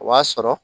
O b'a sɔrɔ